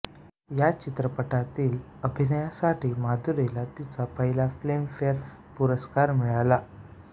या चित्रपटातील अभिनयासाठी माधुरीला तिचा पहिला फिल्मफेअर पुरस्कार मिळाला